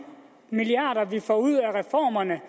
milliarder vi får ud af reformerne